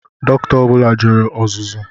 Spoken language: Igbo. Doctor ọ bula jere ọzụzụ